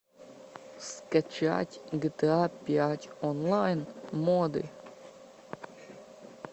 скачать гта пять онлайн моды